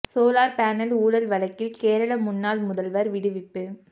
solar panel ஊழல் வழக்கில் கேரள முன்னாள் முதல்வர் விடுவிப்பு